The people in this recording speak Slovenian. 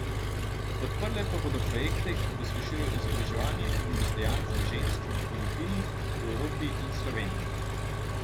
Podprle pa bodo projekte, ki pospešujejo izobraževanje in dostojanstvo žensk na Filipinih, v Evropi in Sloveniji.